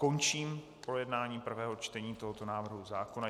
Končím projednání prvého čtení tohoto návrhu zákona.